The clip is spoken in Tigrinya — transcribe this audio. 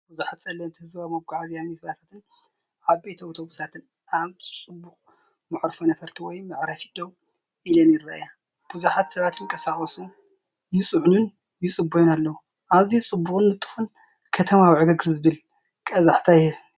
ብዙሓት ጸለምቲ ህዝባዊ መጓዓዝያ ሚኒባሳትን ዓበይቲ ኣውቶቡሳትን ኣብ ጽዑቕ መዕርፎ ነፈርቲ ወይ መዕረፊ ደው ኢለን ይረኣያ። ብዙሓት ሰባት ይንቀሳቐሱ፣ ይጽዕኑን ይጽበዩን ኣለዉ። ኣዝዩ ጽዑቕን ንጡፍን ከተማዊ ዕግርግር ዝብል ቀዛሕታ ይህብ።